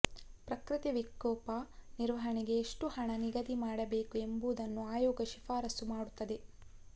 ಪ್ರಕೃತಿ ವಿಕೋಪ ನಿರ್ವಹಣೆಗೆ ಎಷ್ಟುಹಣ ನಿಗದಿ ಮಾಡಬೇಕು ಎಂಬುದನ್ನು ಆಯೋಗ ಶಿಫಾರಸು ಮಾಡುತ್ತದೆ